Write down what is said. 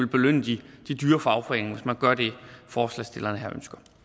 belønne de dyre fagforeninger hvis man gør det forslagsstillerne her